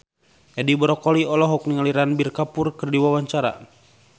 Edi Brokoli olohok ningali Ranbir Kapoor keur diwawancara